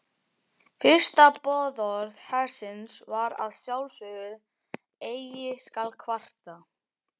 Fyrsta boðorð hersins var að sjálfsögðu Eigi skal kvarta.